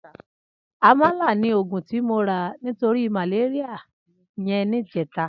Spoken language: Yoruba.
Amàlá ni ógún ti mó rà nitóri màlériá yèn nijètá